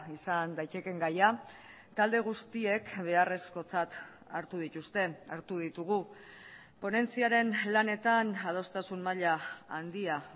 izan daitekeen gaia talde guztiek beharrezkotzat hartu dituzte hartu ditugu ponentziaren lanetan adostasun maila handia